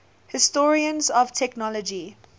historians of technology